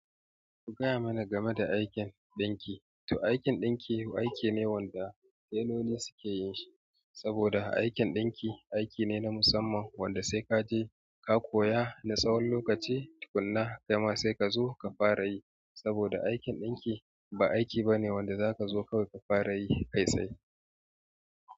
Ku gaya mana game da aikin ɗinki to aikin ɗinki aiki ne wanda teloli sukeyin shi saboda aikin ɗinki aiki ne na musamman wanda sai kaje ka koya na tsawon lokaci, tukunna kaima sai ka zo ka fara yi. Saboda aikin ɗinki ba aiki bane wanda zakazo kawai kafara yi kai tsaye.